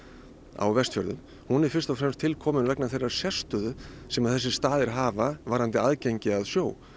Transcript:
á Vestfjörðum hún er fyrst og fremst tilkomin vegna þeirrar sérstöðu sem þessir staðir hafa varðandi aðgengi að sjó